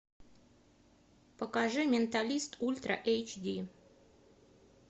покажи менталист ультра эйч ди